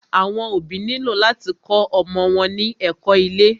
Àwọn òbí nílò láti kó ọmọ wọn ní ẹ̀kó ilé.